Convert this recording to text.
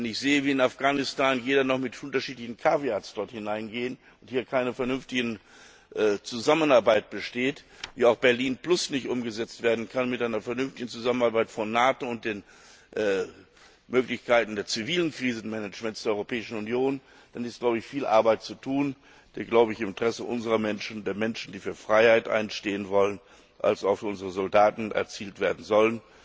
Wenn ich sehe, wie in Afghanistan jeder noch mit unterschiedlichen Vorbehalten dort hineingeht und hier keine vernünftige Zusammenarbeit besteht, wie auch Berlin plus nicht umgesetzt werden kann mit einer vernünftigen Zusammenarbeit von NATO und den Möglichkeiten des zivilen Krisenmanagements der Europäischen Union, dann ist viel Arbeit zu tun, die im Interesse unserer Menschen, der Menschen, die für Freiheit einstehen wollen, als auch für unsere Soldaten erzielt werden soll.